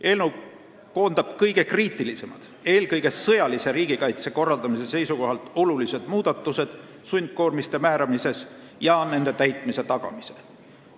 Eelnõu koondab kõige kriitilisemad, eelkõige sõjalise riigikaitse korraldamise seisukohalt olulised muudatused sundkoormiste määramises ja nende täitmise tagamises.